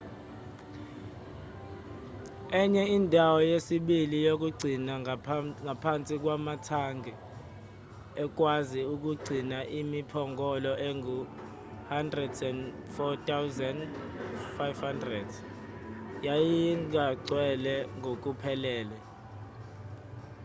enye indawo yesibili yokugcina ngaphansi kwamathangi ekwazi ukugcina imiphongolo engu-104,500 yayingagcwele ngokuphelele